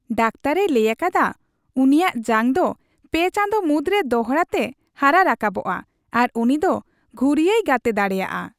ᱰᱟᱠᱛᱟᱨᱼᱮ ᱞᱟᱹᱭ ᱟᱠᱟᱫᱟ ᱩᱱᱤᱭᱟᱜ ᱡᱟᱝ ᱫᱚ ᱓ ᱪᱟᱸᱫᱚ ᱢᱩᱫᱨᱮ ᱫᱚᱲᱦᱟᱛᱮ ᱦᱟᱨᱟ ᱨᱟᱠᱟᱵᱚᱜᱼᱟ ᱟᱨ ᱩᱱᱤ ᱫᱚ ᱜᱷᱩᱨᱭᱟᱹᱭ ᱜᱟᱛᱮ ᱫᱟᱲᱮᱭᱟᱜᱼᱟ ᱾